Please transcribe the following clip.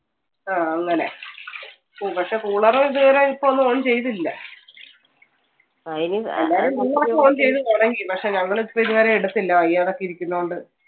ആ അങ്ങനെ പക്ഷെ cooler ഒന്നും ഇതുവരെ ഇപ്പൊ on ചെയ്തില്ല. എല്ലാവരും cooler ഒക്കെ on ചെയ്തു തുടങ്ങി പക്ഷെ ഞങ്ങൾ ഇതുവരെ എടുത്തില്ല. വയ്യാതെ ഒക്കെ ഇരിക്കുന്നത് കൊണ്ട്.